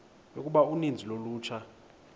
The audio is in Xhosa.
yokuba uninzi lolutsha